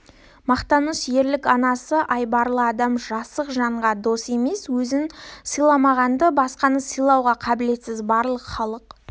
мақтаныш ерлік анасы айбарлы адам жасық жанға дос емес өзін сыйламаған басқаны сыйлауға қабілетсіз барлық халық